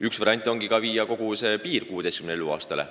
Üks variant ongi tõsta kogu see piir 16 eluaastani.